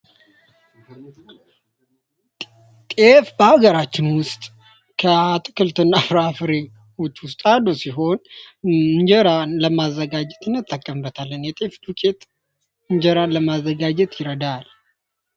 በሀገራችን ከአትክልትና ፍራፍሬ ውስጥ አንዱ ሲሆን እንጀራን ለማዘጋጀት እንጠቀምበታለን። ዱቄት እንጀራን ለማዘጋጀት ይረዳል።